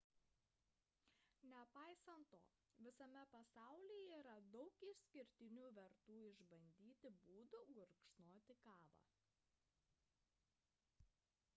nepaisant to visame pasaulyje yra daug išskirtinių vertų išbandyti būdų gurkšnoti kavą